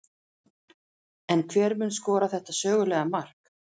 En hver mun skora þetta sögulega mark?